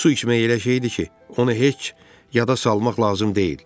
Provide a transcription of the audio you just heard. Su içmək elə şey idi ki, onu heç yada salmaq lazım deyil.